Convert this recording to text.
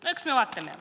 No eks me vaatame.